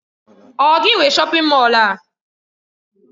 Ọ gị nwe shọpin Mọll a?